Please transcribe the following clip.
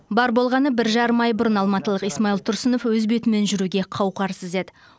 бар болғаны бір жарым ай бұрын алматылық исмаил тұрсынов өз бетімен жүруге қауқарсыз еді